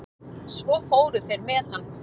Svo fóru þeir með hann.